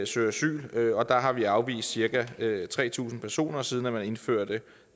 søger asyl og der har vi afvist cirka tre tusind personer siden man indførte